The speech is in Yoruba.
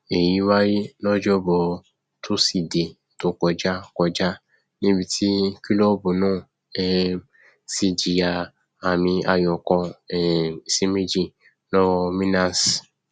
èyí wáyé lọjọbọ tosidee tó kọjá kọjá níbi tí kílọọbù náà um ti jìyà àmìayò kan um sí méjì lọwọ milanes